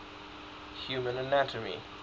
human anatomy